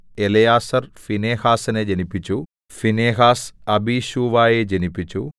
Eleazar ഫീനെഹാസിനെ ജനിപ്പിച്ചു Phinehas അബീശൂവയെ ജനിപ്പിച്ചു